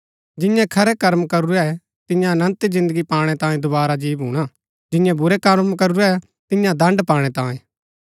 जियें खरै कर्म करूरै तियां अनन्त जिन्दगी पाणै तांयें दोवारा जी भूणा जियें बुरै कर्म करूरै तियां दण्ड पाणै तांयें